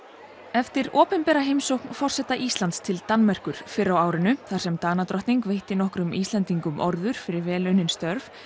eftir opinbera heimsókn forseta Íslands til Danmerkur fyrr á árinu þar sem Danadrottning veitti nokkrum Íslendingum orður fyrir vel unnin störf